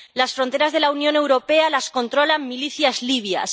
Las fronteras de la Unión Europea las controlan milicias libias.